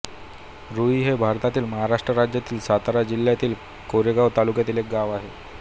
रूई हे भारतातील महाराष्ट्र राज्यातील सातारा जिल्ह्यातील कोरेगाव तालुक्यातील एक गाव आहे